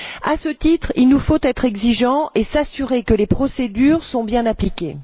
À ce titre, il nous faut être exigeants et nous assurer que les procédures sont bien appliquées.